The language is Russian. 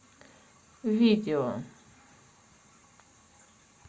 видео